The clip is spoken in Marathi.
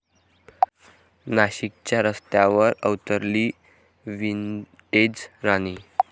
नाशिकच्या रस्त्यांवर अवतरली 'विंटेज राणी'!